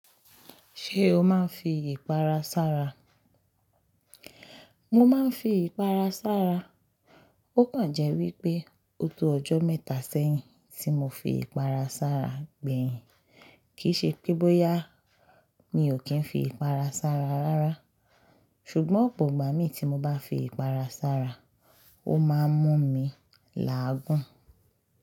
Ṣé o máa ń fi ìpara sára? Mo máa ń fi ìpara sára. Ó kàn jẹ́ wípé ó tọjọ́ mẹ́ta sẹ́yìn tí mọ fi ìpara sára gbẹ̀yìn. Kìí ṣe pé bóyá mi ò kí ń fi ìpara sára rárá. Ṣùgbọ́n ọ̀pọ̀ ìgbà mi tí mo bá fi ìpara sára, ó máa ń mú mi làágùn.